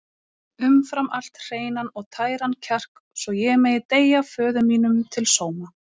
Umfram allt hreinan og tæran kjark svo ég megi deyja föður mínum til sóma.